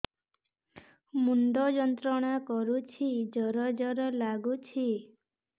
ମୁଣ୍ଡ ଯନ୍ତ୍ରଣା କରୁଛି ଜର ଜର ଲାଗୁଛି